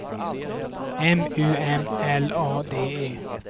M U M L A D E